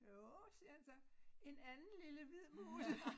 Jo siger han så en anden lille hvid mus